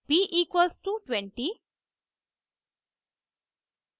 b=20